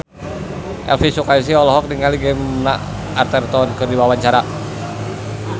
Elvy Sukaesih olohok ningali Gemma Arterton keur diwawancara